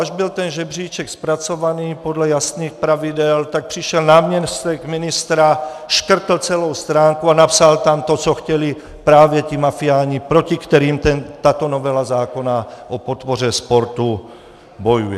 Až byl ten žebříček zpracovaný podle jasných pravidel, tak přišel náměstek ministra, škrtl celou stránku a napsal tam to, co chtěli právě ti mafiáni, proti kterým tato novela zákona o podpoře sportu bojuje.